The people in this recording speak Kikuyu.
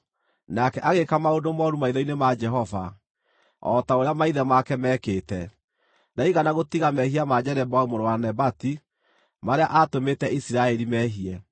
Nake agĩĩka maũndũ mooru maitho-inĩ ma Jehova, o ta ũrĩa maithe make meekĩte. Ndaigana gũtiga mehia ma Jeroboamu mũrũ wa Nebati marĩa aatũmĩte Isiraeli mehie.